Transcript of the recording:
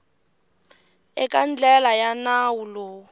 eka ndlela ya nawu lowu